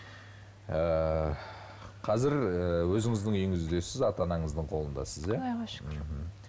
ыыы қазір ы өзіңіздің үйіңіздесіз ата анаңыздың қолындасыз иә құдайға шүкір